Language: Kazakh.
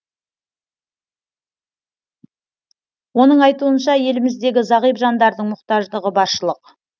оның айтуынша еліміздегі зағип жандардың мұқтаждығы баршылық